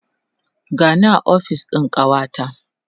gani a ofis ɗin kawata